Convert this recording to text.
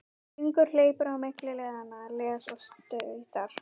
Hringur hleypur á milli leiðanna, les og stautar.